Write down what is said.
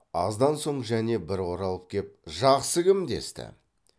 аздан соң және бір оралып кеп жақсы кім десті